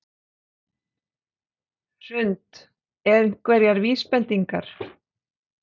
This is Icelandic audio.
Hrund: Einhverjar vísbendingar?